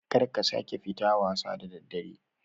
Karka sake fita wasa da daddare